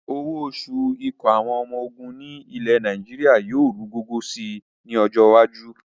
Owó oṣù ikọ̀ àwọn ọmọ ogun ilẹ̀ Nàìjíríà yìí ru gọ́gọ́ sì ni ọjọ́ iwájú